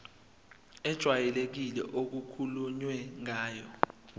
ejwayelekile okukhulunywe ngayo